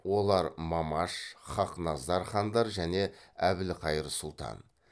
олар мамаш хақназар хандар және әбілқайыр сұлтан